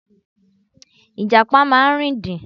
Ìjàpá máa ń rìndìn.